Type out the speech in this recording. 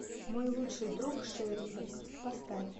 мой лучший друг шейлок поставь